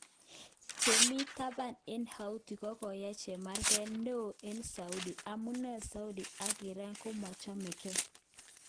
Chemi taban eng Hauti kokoyai chemarget neo eng Saudi ,amune Saudi ak Iran komomochege.